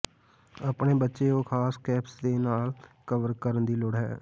ਆਪਣੇ ਬੱਚੇ ਉਹ ਖਾਸ ਕੈਪਸ ਦੇ ਨਾਲ ਕਵਰ ਕਰਨ ਦੀ ਲੋੜ ਹੈ